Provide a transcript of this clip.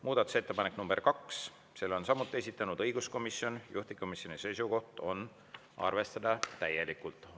Muudatusettepanek nr 2, selle on samuti esitanud õiguskomisjon, juhtivkomisjoni seisukoht on arvestada täielikult.